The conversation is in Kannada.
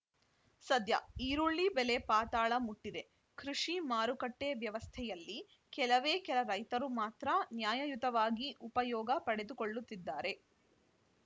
ಸದ್ಯ ಈರುಳ್ಳಿ ಬೆಲೆ ಪಾತಾಳ ಮುಟ್ಟಿದೆ ಕೃಷಿ ಮಾರುಕಟ್ಟೆವ್ಯವಸ್ಥೆಯಲ್ಲಿ ಕೆಲವೇ ಕೆಲ ರೈತರು ಮಾತ್ರ ನ್ಯಾಯಯುತವಾಗಿ ಉಪಯೋಗ ಪಡೆದುಕೊಳ್ಳುತ್ತಿದ್ದಾರೆ